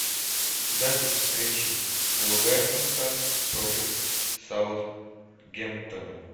запись встречи вулверхэмптон против саутгемптона